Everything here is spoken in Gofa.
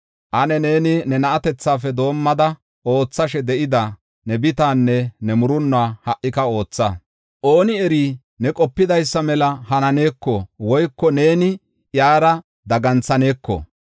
“Ane neeni ne na7atethafe doomada oothashe de7ida ne bitaanne ne murunnuwa ha77ika ootha. Ooni eri ne qopidaysa mela hananeeko woyko neeni iyara daganthaneeko.